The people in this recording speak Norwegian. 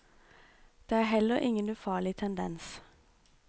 Det er heller ingen ufarlig tendens.